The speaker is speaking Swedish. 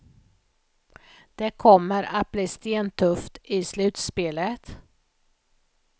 Det kommer att bli stentufft i slutspelet.